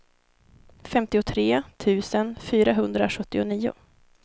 femtiotre tusen fyrahundrasjuttionio